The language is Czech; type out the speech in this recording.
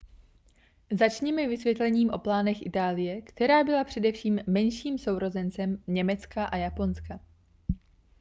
začněme vysvětlením o plánech itálie která byla především menším sourozencem německa a japonska